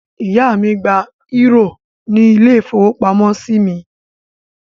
Ìyá mi gba eúrò nínú ilé-ìfowópamọ́sí mi.